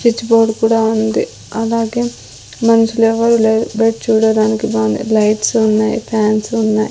Switch board కూడా ఉంది అలాగే మనుషులెవ్వరు లేరు బెడ్ చూడడానికి బాంది లైట్సున్నాయి ఫ్యాన్సున్నాయ్ .